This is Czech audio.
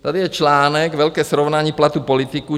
Tady je článek , velké srovnání platů politiků